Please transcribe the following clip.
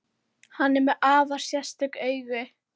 Hann er með afar sérstök augu.